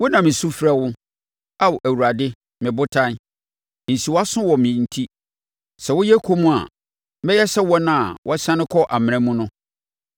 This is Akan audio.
Wo na mesu mefrɛ wo, Ao Awurade me Botan; nsi wʼaso wɔ me enti. Sɛ woyɛ komm a, mɛyɛ sɛ wɔn a wɔasiane kɔ amena mu no.